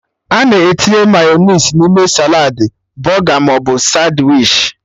Ana etinye mayọnais n'ime saladị, bọga maọbụ sandwichi